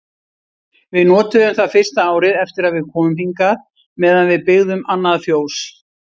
Við notuðum það fyrsta árið eftir að við komum hingað meðan við byggðum annað fjós.